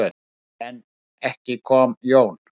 En ekki kom Jón.